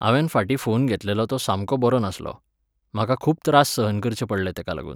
हांवेन फाटीं फोन घेतलेलो तो सामको बरो नासलो. म्हाका खूब त्रास सहन करचे पडले तेका लागून